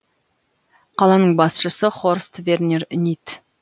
қаланың басшысы хорст вернер нит